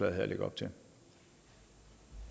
alliance